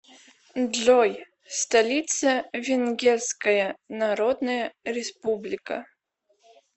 джой столица венгерская народная республика